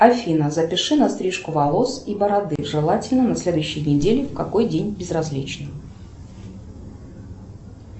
афина запиши на стрижку волос и бороды желательно на следующей неделе в какой день безразлично